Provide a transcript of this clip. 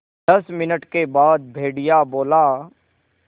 दस मिनट के बाद भेड़िया बोला